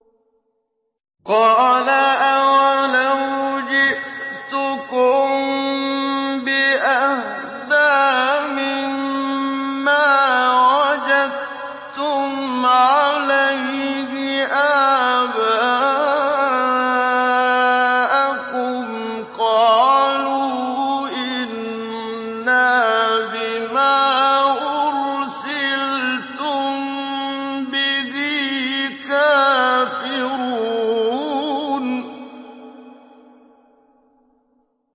۞ قَالَ أَوَلَوْ جِئْتُكُم بِأَهْدَىٰ مِمَّا وَجَدتُّمْ عَلَيْهِ آبَاءَكُمْ ۖ قَالُوا إِنَّا بِمَا أُرْسِلْتُم بِهِ كَافِرُونَ